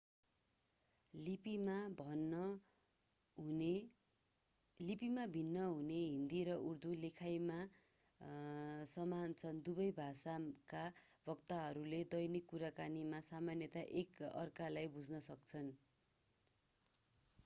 लिपिमा भिन्न हुने हिन्दी र उर्दू लेखाइमा समान छन् दुबै भाषाका वक्ताहरूले दैनिक कुराकानीमा सामान्यतया एक अर्कालाई बुझ्न सक्छन्